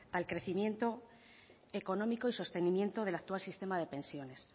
al crecimiento económico y sostenimiento del actual sistema de pensiones